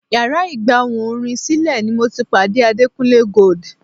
Yàrá ìgbà ohùn orin sílẹ̀ ni mo ti pàdé Adekunle Gold.